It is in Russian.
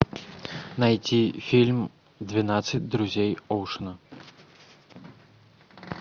найти фильм двенадцать друзей оушена